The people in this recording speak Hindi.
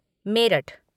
मेरठ,